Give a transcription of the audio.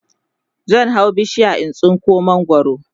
zan hau bishiya in tsinko mangwaro